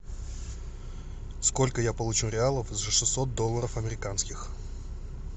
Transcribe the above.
сколько я получу реалов за шестьсот долларов американских